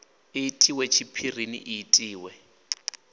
i itiwe tshiphirini i itiwe